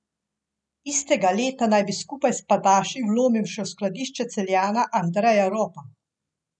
Istega leta naj bi skupaj s pajdaši vlomil še v skladišče Celjana Andreja Ropa.